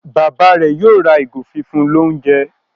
Bàbá rẹ yóò ra ìgò fífún l'ounjẹ.